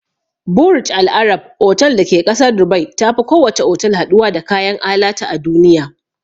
Burj al Arab otal da ke ƙasar Dubai tafi kowace otal haɗuwa da kayan alatu a duniya.